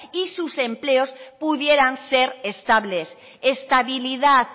y sus empleos pudieran ser estables estabilidad